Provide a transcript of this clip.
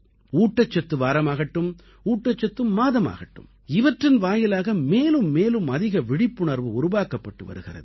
ஊட்டச்சத்து வாரமாகட்டும் ஊட்டச்சத்து மாதமாகட்டும் இவற்றின் வாயிலாக மேலும் மேலும் அதிக விழிப்புணர்வு உருவாக்கப்பட்டு வருகிறது